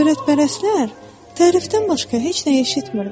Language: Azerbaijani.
Şöhrətpərəstlər tərifdən başqa heç nə eşitmirlər.